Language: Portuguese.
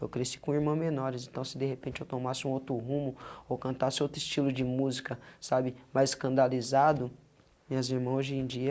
Eu cresci com uma irmã menores, então se de repente eu tomasse um outro rumo ou cantasse outro estilo de música, sabe, mais escandalizado, minhas irmã hoje em dia,